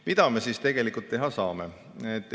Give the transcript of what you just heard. Mida me siis tegelikult teha saame?